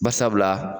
Barisabula